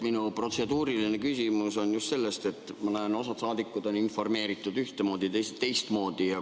Minu protseduuriline küsimus on tingitud just sellest, et nagu ma näen, on osa saadikuid informeeritud ühtemoodi, teisi teistmoodi.